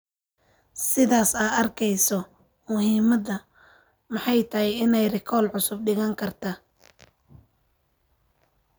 Sidhas aa arkeyso muhiimadha maxay tahy inay rikol cusub dhigankarta.